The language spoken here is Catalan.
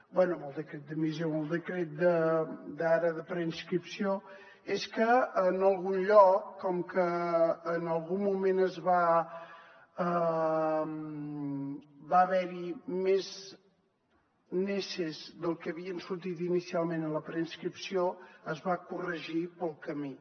bé amb el decret d’admissió amb el decret d’ara de preinscripció és que en algun lloc com que en algun moment va haver hi més neses del que havien sortit inicialment en la preinscripció es va corregir pel camí